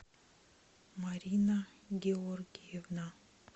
марина георгиевна